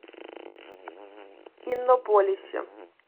иннополисе